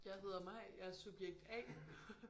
Jeg hedder Maj jeg er subjekt A